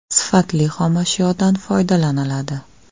Sifatli xomashyodan foydalaniladi.